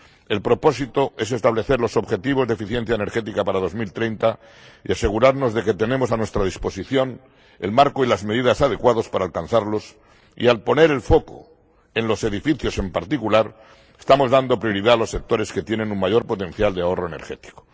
El propósito es establecer los objetivos de eficiencia energética para 2030 y asegurarnos de que tenemos a nuestra disposición el marco y las medidas adecuados para alcanzarlos y, al poner el foco en los edificios en particular, estamos dando prioridad a los sectores que tienen un mayor potencial de ahorro energético.